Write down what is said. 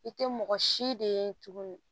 I tɛ mɔgɔ si de ye tuguni